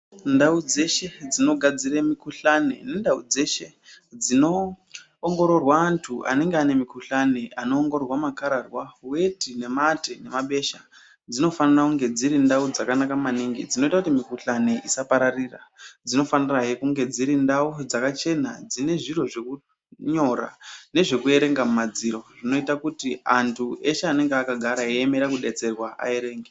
Ndau dzeshe dzinogadzire mikuhlani nendau dzeshe dzinoongororwa antu anenge ane mikuhlani anoongororwa makararwa, weti, nemate nemabesha dzinofanira kunge dziri ndau dzakanaka maningi dzinoita kuti mikuhlane isapararira. Dzinofanirahe kunge dziri ndau dzakachena dzine zviro zvekunyora nezvekuerenga mumadziro zvinoita kuti antu eshe anenge akagara eiemera kudetserwa aerenge.